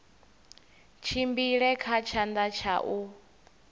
tshimbile kha tshanḓa tsha u